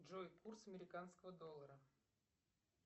джой курс американского доллара